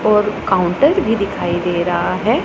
और काउंटर भी दिखाई दे रहा है।